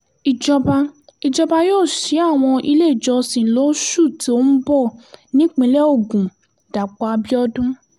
ìjọba ìjọba yóò ṣí àwọn iléèjọsìn lóṣù tó ń bọ̀ nípìnlẹ̀ ogun dàpọ̀ abíọ́dún